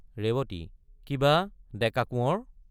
ৰেৱতী—কিবা ডেকা কোঁৱৰ?